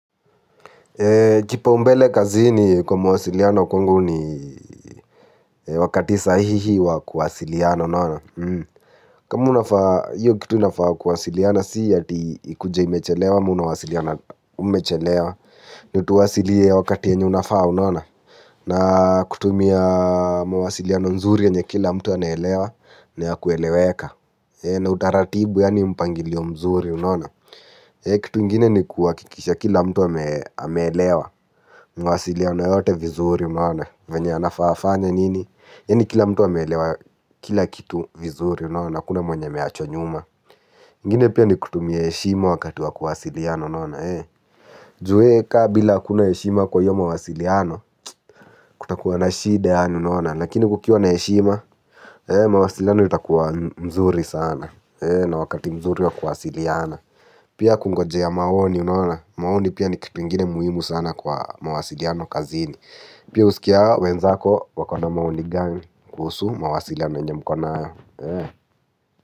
Kipaumbele kazini kwa mwasiliano kwangu ni wakati sahihi wa kuwasiliana unaona. Kama unafaa, hiyo kitu inafaa kuwasiliana si ati ikuje imechelewa ama unawasiliana umechelewa. Ni utuwasilie wakati yenye unafaa unaona. Na kutumia mawasiliano nzuri yenye kila mtu anaelewa, na ya kueleweka. Na utaratibu yaani mpangilio mzuri unaona. Kitu ingine ni kuhakikisha kila mtu ameelewa. Mawasiliano yote vizuri unaona vyenye anafaa afanye nini yaani kila mtu ameelewa kila kitu vizuri unaona hakuna mwenye ameachwa nyuma. Ingine pia ni kutumia heshima wakati wa kuwasiliana unaona. Ju kama bila hakuna heshima kwa hiyo mawasiliano kutakuwa na shida yaani unaona. Lakini kukiwa na heshima mawasiliano itakuwa mzuri sana. Na wakati mzuri wa kuwasiliana. Pia kungojea maoni unaona maoni pia ni kitu ingine muhimu sana kwa mawasiliano kazini. Pia usikie hao wenzako wako na maoni gani kuhusu mawasiliano yenye mko nayo.